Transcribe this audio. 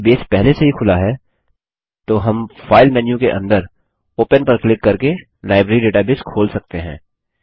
यदि बेस पहले से ही खुला है तो हम फाइल मेन्यू के अंदर ओपन पर क्लिक करके लाइब्रेरी डेटाबेस खोल सकते हैं